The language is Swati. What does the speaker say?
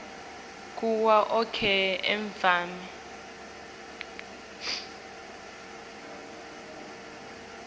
kuwo onkhe emave